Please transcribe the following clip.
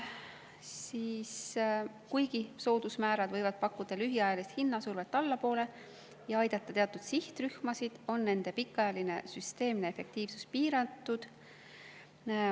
Seega, kuigi soodusmäärad võivad pakkuda lühiajalist survet hindu allapoole viia ja aidata teatud sihtrühmasid, on nende pikaajaline süsteemne efektiivsus piiratud.